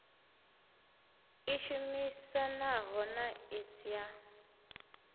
i shumisanaho na iss ya